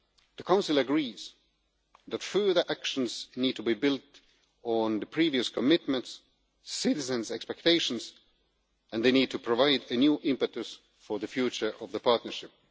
The Council agrees that further actions need to be built on the previous commitments and on citizens' expectations, and they need to provide new impetus for the future of the partnership.